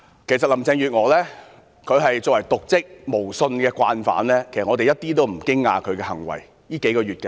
其實林鄭月娥作為瀆職無信的慣犯，她這數個月的行為我們一點也不驚訝。